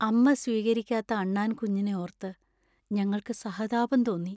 അമ്മ സ്വീകരിക്കാത്ത അണ്ണാൻ കുഞ്ഞിനെ ഓർത്ത് ഞങ്ങൾക്ക് സഹതാപം തോന്നി.